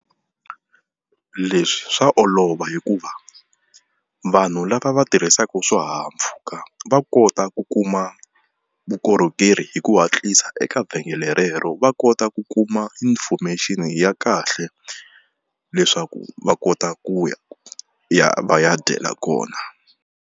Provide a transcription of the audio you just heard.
Leswi swa olova hikuva vanhu lava va tirhisaka swihahampfhuka va kota ku kuma vukorhokeri hi ku hatlisa eka vhengele rero. Va kota ku kuma information ya kahle leswaku va kota ku ya ya va ya dyela kona.